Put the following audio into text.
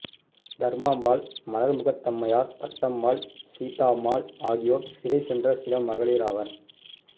தர்மாம்பாள் மலர்முகத்தம்மையார் பட்டம்மாள் சீதாம்மாள் ஆகியோர் சிறை சென்ற சில மகளிராவர்